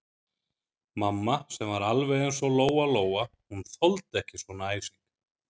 Mamma sem var alveg eins og Lóa-Lóa, hún þoldi ekki svona æsing.